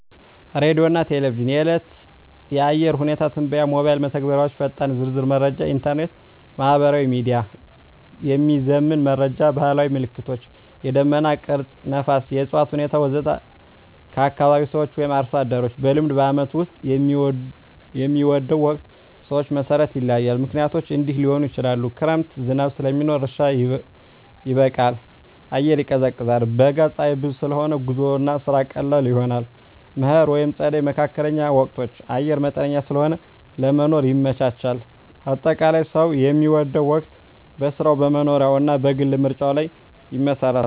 ሬዲዮና ቴሌቪዥን – የዕለት የአየር ሁኔታ ትንበያ ሞባይል መተግበሪያዎች ፈጣንና ዝርዝር መረጃ ኢንተርኔት/ማህበራዊ ሚዲያ – የሚዘመን መረጃ ባህላዊ ምልክቶች – የደመና ቅርጽ፣ ነፋስ፣ የእፅዋት ሁኔታ ወዘተ ከአካባቢ ሰዎች/አርሶ አደሮች – በልምድ በዓመቱ ውስጥ የሚወደው ወቅት ሰዎች መሠረት ይለያያል፣ ምክንያቶቹም እንዲህ ሊሆኑ ይችላሉ፦ ክረምት – ዝናብ ስለሚኖር እርሻ ይበቃል፣ አየር ይቀዝቃዛል። በጋ – ፀሐይ ብዙ ስለሆነ ጉዞና ስራ ቀላል ይሆናል። መከር/ጸደይ (መካከለኛ ወቅቶች) – አየር መጠነኛ ስለሆነ ለመኖር ይመቻቻል። አጠቃላይ፣ ሰው የሚወደው ወቅት በሥራው፣ በመኖሪያው እና በግል ምርጫው ላይ ይመሰረታል።